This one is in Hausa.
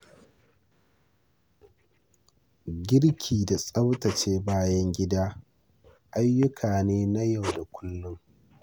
Girki da tsaftace bayan gida ayyuka ne na yau da kullum.